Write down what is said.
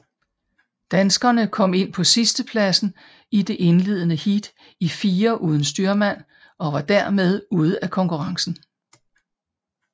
Danskerne kom ind på sidstepladsen i det indledende heat i firer uden styrmand og var dermed ude af konkurrencen